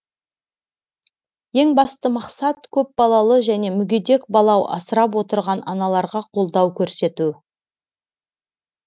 ең басты мақсат көпбалалы және мүгедек бала асырап отырған аналарға қолдау көрсету